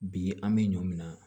Bi an bɛ ɲɔ min na